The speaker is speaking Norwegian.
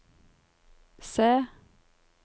C